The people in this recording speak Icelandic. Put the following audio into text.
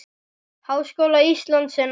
Háskóla Íslands en áður.